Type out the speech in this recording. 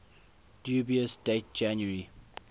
dubious date january